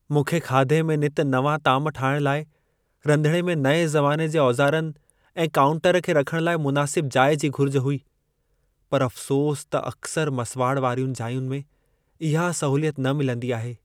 मूंखे खाधे में नित नवां ताम ठाहिण लाइ रंधिणे में नएं ज़माने जे औज़ारनि ऐं कांउटर खे रखण लाइ मुनासिब जाइ जी घुर्ज हुई, पर अफ़्सोस त अकसरि मसुवाड़ वारियुनि जाइयुनि में इहा सहूलियत न मिलंदी आहे।